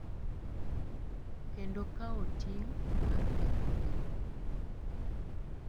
Kendo kawo ting’ mar kethogi.